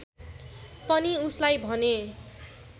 पनि उसलाई भने